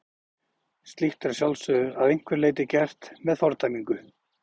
Slíkt er að sjálfsögðu að einhverju leyti gert með fordæmingu.